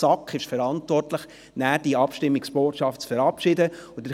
Für die Verabschiedung der Abstimmungsbotschaft ist letztlich die SAK verantwortlich.